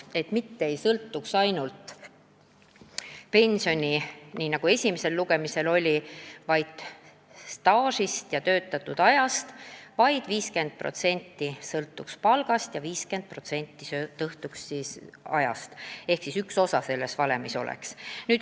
Pension ei sõltuks, nii nagu esimesel lugemisel oli, staažist, töötatud ajast, vaid 50% ulatuses sõltuks see palgast ja 50% ulatuses töötatud ajast.